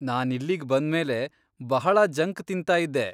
ನಾನಿಲ್ಲಿಗ್ ಬಂದ್ಮೇಲೆ ಬಹಳಾ ಜಂಕ್ ತಿನ್ತಾಯಿದ್ದೆ.